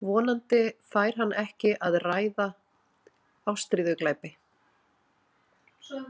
Vonandi færi hann ekki að ræða ástríðuglæpi.